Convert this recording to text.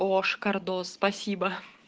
оо шикардос спасибо